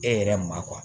E yɛrɛ ma